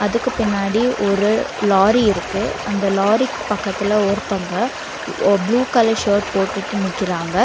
அதுக்கு பின்னாடி ஒரு லாரி இருக்கு அந்த லாரிக்கு பக்கத்துல ஒருத்தங்க ஒ ப்ளூ கலர் ஷர்ட் போட்டுட்டு நிக்கிறாங்க.